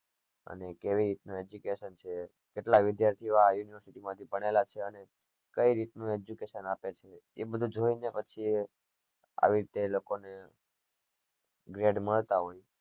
અને જેવી રીતે ના કેટલા વિદ્યાર્થીઓ આ university માંથી ભણેલા છે અને કઈ રીતે નું education આપે છે એ બધું જોઈએ ને પછી આવી રીતે એ લોકો ને grade મળતા હોય